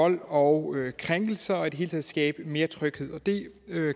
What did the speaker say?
vold og krænkelser og i det hele taget skabe mere tryghed og det